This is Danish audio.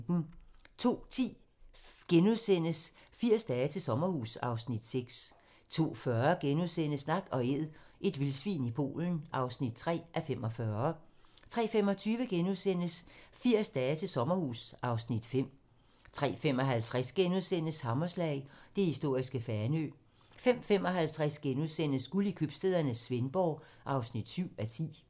02:10: 80 dage til sommerhus (Afs. 6)* 02:40: Nak & Æd - et vildsvin i Polen (3:45)* 03:25: 80 dage til sommerhus (Afs. 5)* 03:55: Hammerslag - det historiske Fanø * 05:50: Guld i købstæderne - Svendborg (7:10)*